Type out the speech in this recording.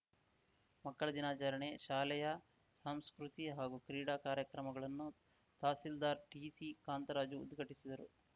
ಮಕ್ಕಳ ದಿನಾಚರಣೆ ಶಾಲೆಯ ಸಾಂಸ್ಕೃತಿ ಹಾಗೂ ಕ್ರೀಡಾ ಕಾರ್ಯಕ್ರಮಗಳನ್ನು ತಹಸೀಲ್ದಾರ್‌ ಟಿಸಿ ಕಾಂತರಾಜು ಉದ್ಘಾಟಿಸಿದರು